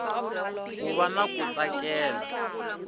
ku va na ku tsakela